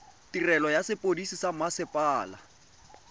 tirelo ya sepodisi sa mmasepala